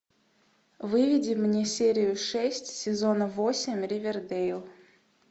выведи мне серию шесть сезона восемь ривердейл